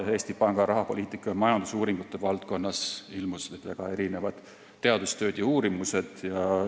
Eesti Panga rahapoliitika ja majandusuuringute valdkonnas ilmusid mõned teadustööd ja uurimused.